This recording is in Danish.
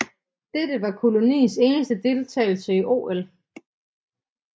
Dette var koloniens eneste deltagelse i OL